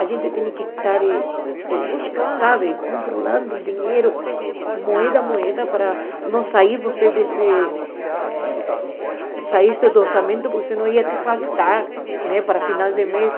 A gente tinha que estar eh eh, sabe, controlando o dinheiro, moeda a moeda, para não sair você desse, sair do orçamento, porque senão ia te faltar, né, para final de mês.